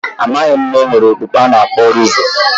Amaghị m na e nwere okpukpe a na-akpọ druze